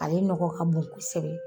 Ale nɔgɔ ka bon kosɛbɛ